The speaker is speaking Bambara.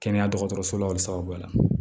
Kɛnɛya dɔgɔtɔrɔso la wali sababuya la